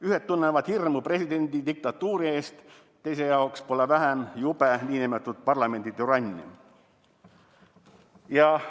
Ühed tunnevad hirmu nn presidendidiktatuuri ees, teiste jaoks pole vähem jube nn parlamenditürannia.